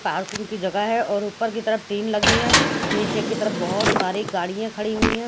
Perkin की जगह है और ऊपर की तरफ टिन लगी है नीचे की तरफ बहत सारे गाड़िया खड़ी हुई है.